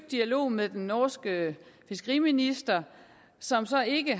dialog med den norske fiskeriminister som så ikke